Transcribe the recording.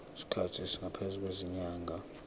isikhathi esingaphezulu kwezinyanga